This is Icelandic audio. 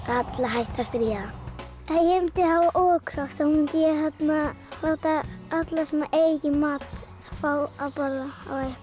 alla hætta að stríða ef ég mundi hafa þá mundi ég láta alla sem eiga ekki mat fá að borða